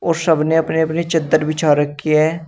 और सब ने अपनी अपनी चद्दर बिछा रखी है।